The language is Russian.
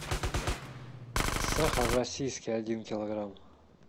сахар российский один килограмм